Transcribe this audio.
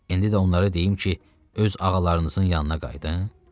İndi də onları deyim ki, öz ağalarınızın yanına qayıdın?